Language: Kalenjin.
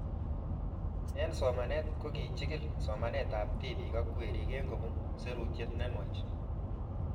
Eng' somanet ko kichikil somanet ab tipik ak werik eng' kopun serutiet ne nuach